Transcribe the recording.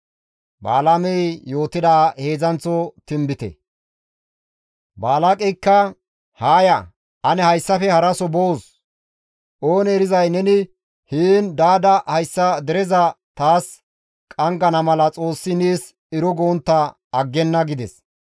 Balaaqeyka, «Haa ya ane hayssafe haraso boos; oonee erizay neni heen daada hayssa dereza taas qanggana mala Xoossi nees ero gontta aggenna» gides.